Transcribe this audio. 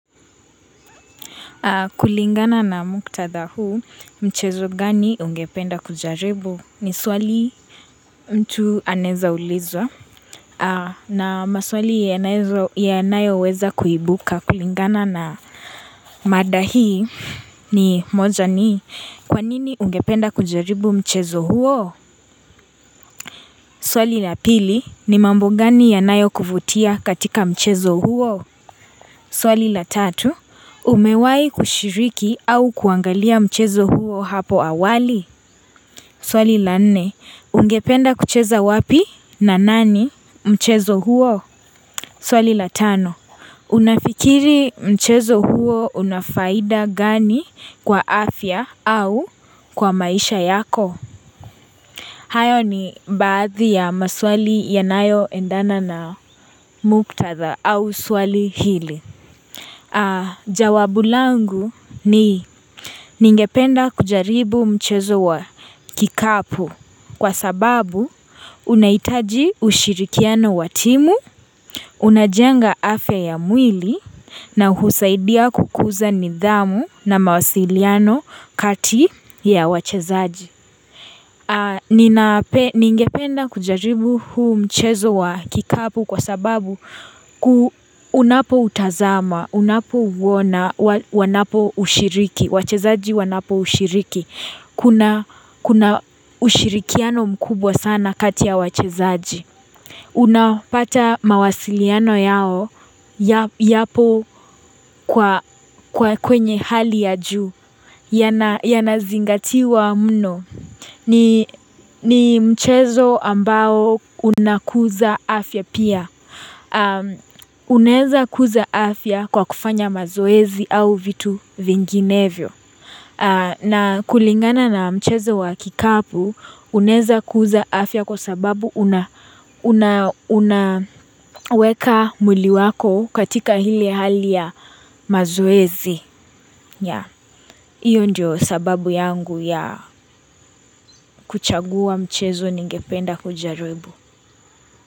Kulingana na muktadha huu mchezo gani ungependa kujaribu ni swali mtu aneza ulizwa na maswali yanayo weza kuibuka kulingana na mada hii ni moja ni kwanini ungependa kujaribu mchezo huo. Swali la pili ni mambo gani yanayo kuvutia katika mchezo huo. Swali la tatu, umewahi kushiriki au kuangalia mchezo huo hapo awali? Swali la nne, ungependa kucheza wapi na nani mchezo huo? Swali la tano, unafikiri mchezo huo una faida gani kwa afya au kwa maisha yako? Hayo ni baadhi ya maswali yanayo endana na muktatha au swali hili. Jawabu langu ni ningependa kujaribu mchezo wa kikapu kwa sababu unahitaji ushirikiano watimu, unajenga afya ya mwili na husaidia kukuza nidhamu na mawasiliano kati ya wachezaji. Ni ngependa kujaribu huu mchezo wa kikapu kwa sababu unapo utazama, unapouona, wanapo ushiriki, wachezaji wanapo ushiriki Kuna ushirikiano mkubwa sana kati ya wachezaji Unapata mawasiliano yao yapo kwenye hali ya juu Yanazingatiwa mno ni mchezo ambao unakuza afya pia. Uneza kuza afya kwa kufanya mazoezi au vitu vinginevyo. Na kulingana na mchezo wa kikapu uneza kuza afya kwa sababu unaweka mwili wako katika hili hali ya mazoezi. Ya hiyo ndio sababu yangu ya kuchagua mchezo ningependa kujaribu.